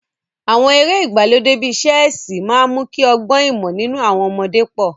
Àwọn eré ìgbàlódé bíi ṣẹ́ẹ̀sì máa ń mú kí ọgbọ́n ìmọ̀ nínú àwọn ọmọdé pọ̀.